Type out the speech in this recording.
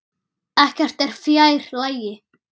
Ekkert er fjær lagi.